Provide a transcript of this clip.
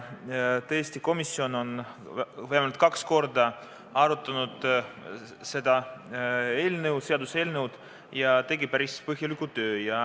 Tõesti, komisjon on seda seaduseelnõu arutanud vähemalt kaks korda ja teinud päris põhjalikku tööd.